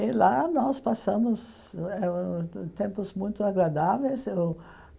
E lá nós passamos eh tempos muito agradáveis. Eu